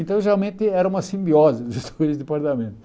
Então, geralmente, era uma simbiose dos dois departamentos.